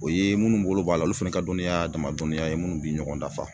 O ye munnu bolo b'a la olu fɛnɛ ka dɔniya a dama dɔniya ye minnu bi ɲɔgɔn dafa.